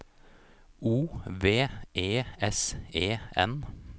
O V E S E N